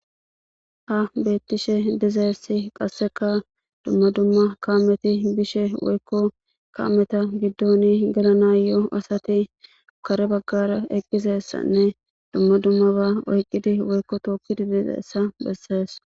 ha beettishe dizeessi qasseka dumma dumma kaameti bishe woykko kaameta giddoni galanaayo asati kare baggara eqqizessanne dumma dummaba oyqqidi woykko tookkidi dizessa bessees